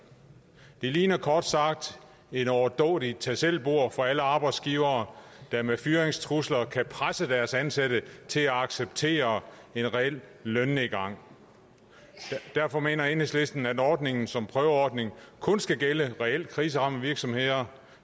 det ligner kort sagt et overdådigt tag selv bord for alle arbejdsgivere der med fyringstrusler kan presse deres ansatte til at acceptere en reel lønnedgang derfor mener enhedslisten at ordningen som prøveordning kun skal gælde reelt kriseramte virksomheder